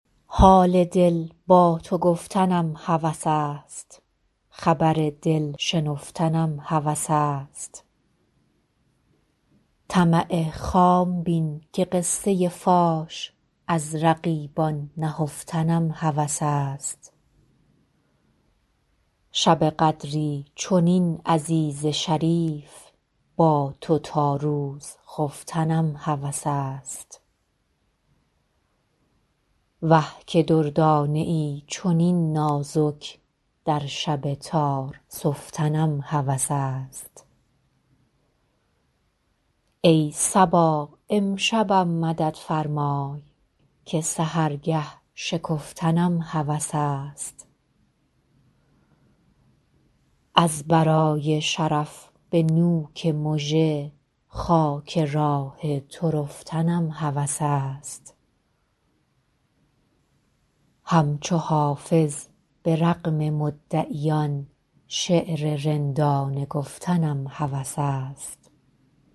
حال دل با تو گفتنم هوس است خبر دل شنفتنم هوس است طمع خام بین که قصه فاش از رقیبان نهفتنم هوس است شب قدری چنین عزیز شریف با تو تا روز خفتنم هوس است وه که دردانه ای چنین نازک در شب تار سفتنم هوس است ای صبا امشبم مدد فرمای که سحرگه شکفتنم هوس است از برای شرف به نوک مژه خاک راه تو رفتنم هوس است همچو حافظ به رغم مدعیان شعر رندانه گفتنم هوس است